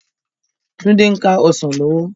Tunde n ká òsán lòwò